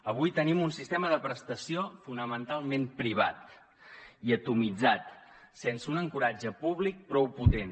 avui tenim un sistema de prestació fonamentalment privat i atomitzat sense un ancoratge públic prou potent